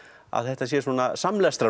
að þetta sé